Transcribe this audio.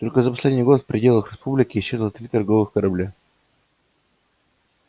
только за последний год в пределах республики исчезло три торговых корабля